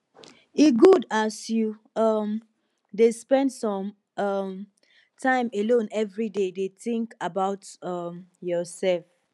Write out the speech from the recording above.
e good as you um dey spend some um time alone everyday dey tink about um yoursef